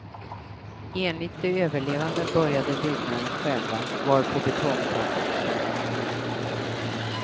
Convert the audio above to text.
Enligt de överlevande började byggnaden skälva, varpå betongtaket föll ned.